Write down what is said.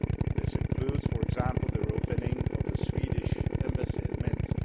These include, for example, the re opening of the Swedish Embassy in Minsk.